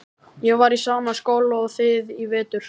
Ég var í sama skóla og þið í vetur.